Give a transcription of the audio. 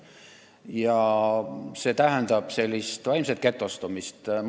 Ja see tähendab n-ö vaimset getostumist.